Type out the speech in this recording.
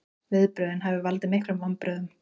Viðbrögðin hafi valdið miklum vonbrigðum